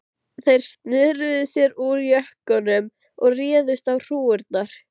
Þeir snöruðu sér úr jökkunum og réðust á hrúgurnar.